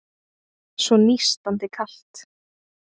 Svo nístandi kalt.